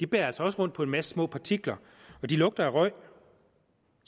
bærer altså også rundt på en masse små partikler og de lugter af røg og